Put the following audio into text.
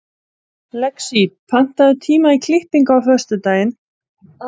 Lexí, pantaðu tíma í klippingu á föstudaginn.